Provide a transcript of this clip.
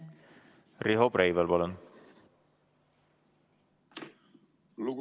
Riho Breivel, palun!